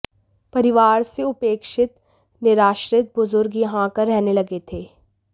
परिवार से उपेक्षित निराश्रित बुजुर्ग यहां आकर रहने लगे थे